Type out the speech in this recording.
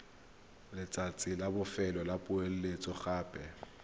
letsatsi la bofelo la poeletsogape